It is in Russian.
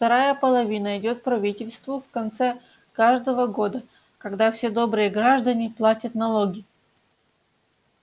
вторая половина идёт правительству в конце каждого года когда все добрые граждане платят налоги